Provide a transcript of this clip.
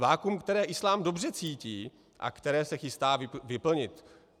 Vakuum, které islám dobře cítí a které se chystá vyplnit?